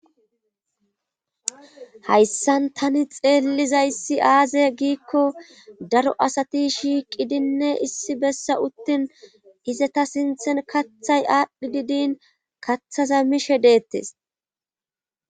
Hayssan tani xeellizayssi aaze giikko daro asati shiiqidinne issi bessa uttin izeta sinthen kathay aadhdhi didiin kathaza mishe deettes.